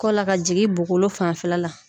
Kɔ la ka jigin bokolo fanfɛla la.